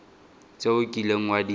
tse o kileng wa di